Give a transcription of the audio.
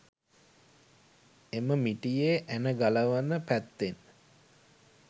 එම මිටියේ ඇන ගලවන පැත්තෙන්